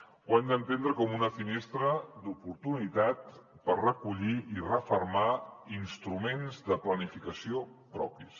ho hem d’entendre com una finestra d’oportunitat per recollir i refermar instruments de planificació propis